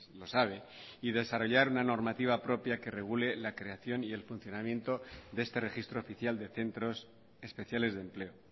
lo sabe y desarrollar una normativa propia que regule la creación y el funcionamiento de este registro oficial de centros especiales de empleo